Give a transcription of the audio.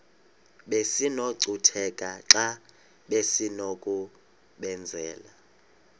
besinokucutheka xa besinokubenzela